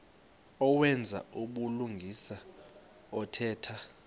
owenza ubulungisa othetha